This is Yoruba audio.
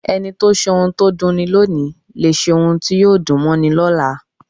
Ẹni tó ṣe ohun tó dunni lóòni lè ṣe ohun tí yóò dùn mọ́ni lọ́la.